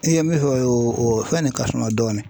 I ye min fɔ o ye o fɛn de ka suma dɔɔni